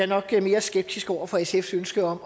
nok mere skeptisk over for sfs ønske om